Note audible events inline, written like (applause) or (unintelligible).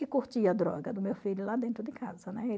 E (unintelligible) droga do meu filho lá dentro de casa, né?